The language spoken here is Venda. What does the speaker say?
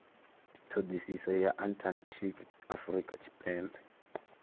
thodisiso ya antarctic afurika tshipembe